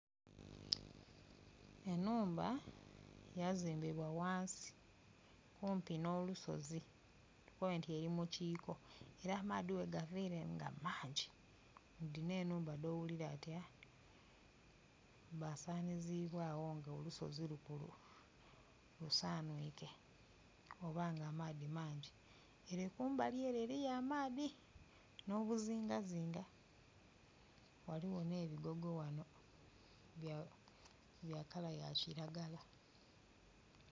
Enhumba yazimbibwa wansi kumpi nolusozi tukobe nti eri mu kiko era amaadhi bwe gavere nga maangi nidhino enhumba dhoghuliranga nti aaa dha sanhizibwagho nga olusozi lusanhuike oba nga amaadhi mangi. Ere kumbali ere eriyo amadhii no buzinga zinga, waliwo ne bigogo wano bya kala ya kilagala.